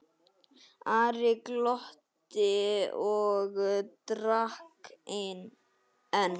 Ari glotti og drakk enn.